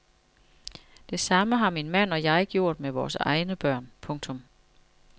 Det samme har min mand og jeg gjort med vores egne børn. punktum